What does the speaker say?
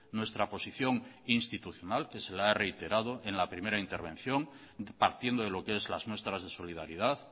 nuestra posición institucional que se la he reiterado en la primera intervención partiendo de lo que es las muestras de solidaridad